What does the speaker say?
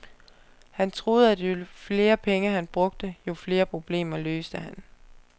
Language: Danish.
Han troede, at jo flere penge han brugte, jo flere problemer løste han.